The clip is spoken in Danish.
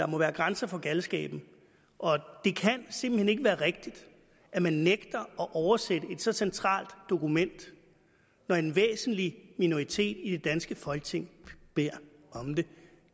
må være grænser for galskaben det kan simpelt hen ikke være rigtigt at man nægter at oversætte et så centralt dokument når en væsentlig minoritet i det danske folketing beder om det